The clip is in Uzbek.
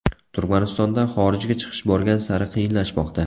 Turkmanistonda xorijga chiqish borgan sari qiyinlashmoqda.